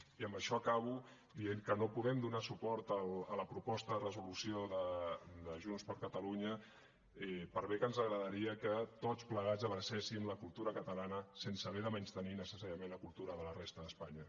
i amb això acabo dient que no podem donar suport a la proposta de resolució de junts per catalunya per bé que ens agradaria que tots plegats abracéssim la cultura catalana sense haver de menystenir necessàriament la cultura de la resta d’espanya